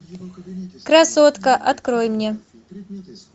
красотка открой мне